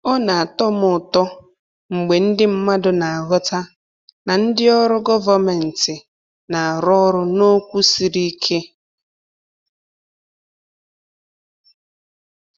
Ọ na-atọ m ụtọ mgbe ndị mmadụ na-aghọta na ndị ọrụ gọvanmentị na-arụ ọrụ n’okwu siri ike.